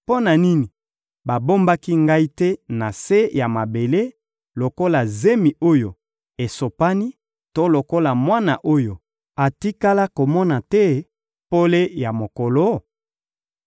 Mpo na nini babombaki ngai te na se ya mabele lokola zemi oyo esopani to lokola mwana oyo atikala komona te pole ya mokolo?